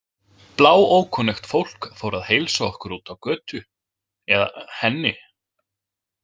Bláókunnugt fólk fór að heilsa okkur úti á götu, eða henni.